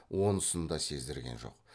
онысын да сездірген жоқ